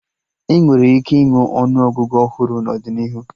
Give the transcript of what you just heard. Enwere ike ịnwe ọnụ Ọgụgụ ọhụrụ n'ọdịnihu